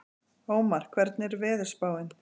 Ómar, hvernig er veðurspáin?